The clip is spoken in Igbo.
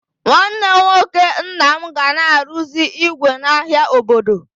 Nwanne nwoke nna m ga na arụzi ígwè n'ahia obodo.